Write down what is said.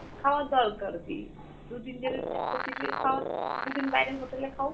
খাওয়ার দরকার কী? দুদিন যেরম খাওয়ার, দুদিন বাইরের hotel এ খাও।